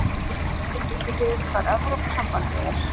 Helga: Vitið þið hvað Evrópusambandið er?